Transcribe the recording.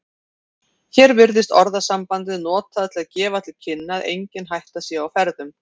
Hér virðist orðasambandið notað til að gefa til kynna að engin hætta sé á ferðum.